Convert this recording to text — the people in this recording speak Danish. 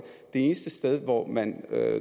eneste sted hvor man